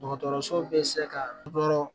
Dɔgɔtɔrɔso bɛ se ka dɔ